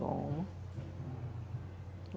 Toma.